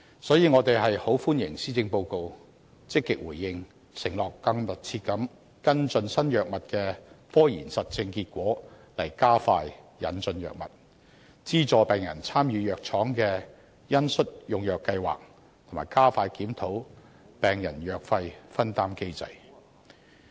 所以，我們很歡迎政府在施政報告中積極回應這些訴求，承諾更密切跟進新藥物的科研實證結果，從而加快引進藥物，資助病人參與藥廠的恩恤用藥計劃，以及加快檢討病人藥費分擔機制。